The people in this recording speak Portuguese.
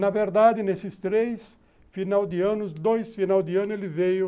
Na verdade, nesses três final de anos, dois final de ano, ele veio